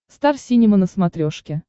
стар синема на смотрешке